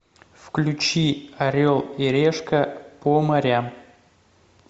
включи орел и решка по морям